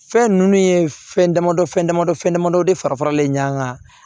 Fɛn ninnu ye fɛn damadɔ fɛn damadɔ fɛn damadɔ de fara faralen ɲɔn kan